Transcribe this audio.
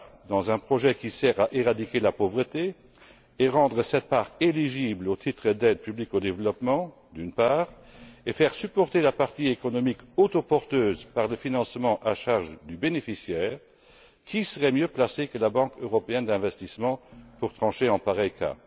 dans un projet la part qui sert à éradiquer la pauvreté et rendre cette part admissible au titre d'aide publique au développement, d'une part, et faire supporter la partie économique autoporteuse par des financements à charge du bénéficiaire, qui serait mieux placé que la Banque européenne d'investissement pour trancher en pareil cas?